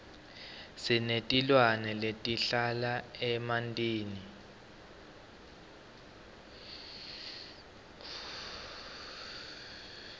sinetilwane letihlala emantini